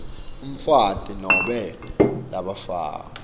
umfati nobe labafakwe